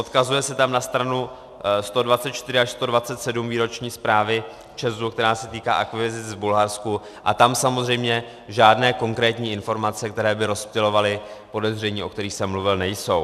Odkazuje se tam na stranu 124 až 127 výroční zprávy ČEZu, která se týká akvizic v Bulharsku, a tam samozřejmě žádné konkrétní informace, které by rozptylovaly podezření, o kterých jsem mluvil, nejsou.